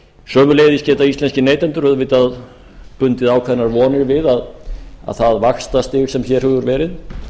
sömuleiðis geta íslenskir neytendur auðvitað bundið ákveðnar vonir við að það vaxtastig sem hér hefur verið